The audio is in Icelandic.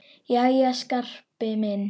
Jæja, Skarpi minn.